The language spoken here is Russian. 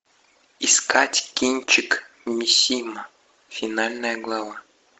искать кинчик мисима финальная глава